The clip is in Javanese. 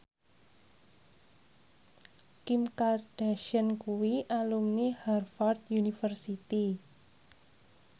Kim Kardashian kuwi alumni Harvard university